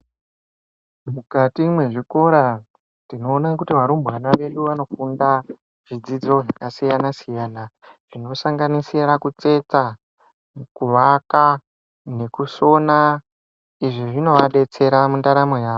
Mukati mwezvikora tinoone kuti varumbwana vedu vanofunda zvidzidzo zvakasiyana-siyana zvinosanganisira kutsetsa, kuvaka nekusona. Izvi zvinovadetsera mundaramo yavo.